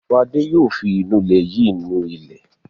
Fadé yóò fi ìnulẹ̀ yìí ni ilẹ̀.